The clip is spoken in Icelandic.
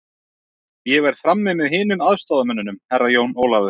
Ég verð frammi með hinum aðstoðarmönnunum, Herra Jón Ólafur.